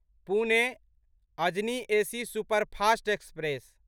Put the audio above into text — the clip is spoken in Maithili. Pune Ajni AC superfast express